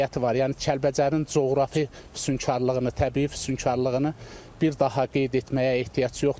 Yəni Kəlbəcərin coğrafi füsunkarlığını, təbii füsunkarlığını bir daha qeyd etməyə ehtiyac yoxdur.